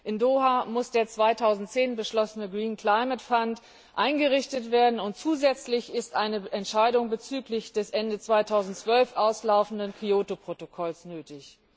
In Doha muss der 2010 beschlossene eingerichtet werden, und zusätzlich ist eine Entscheidung bezüglich des Ende 2012 auslaufenden Kyoto Protokolls nötig.